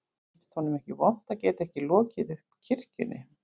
Finnst honum ekki vont að geta ekki lokið upp kirkjunni